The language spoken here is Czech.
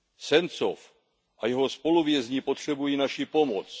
Sencov a jeho spoluvězni potřebují naši pomoc.